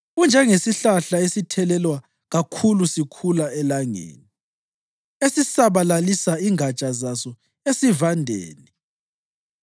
Unjengesihlahla esithelelwa kakhulu sikhula elangeni, esisabalalisa ingatsha zaso esivandeni;